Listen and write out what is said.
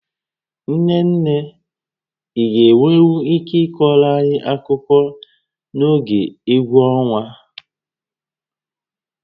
Nne nne, ị ga-enwenwu ike ịkọọrọ anyị akụkọ n'oge égwú ọnwa?